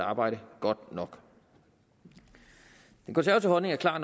arbejdet godt nok den konservative holdning er klar